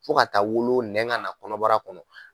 Fo ka taa wolo nɛn ka na kɔnɔbara kɔnɔ.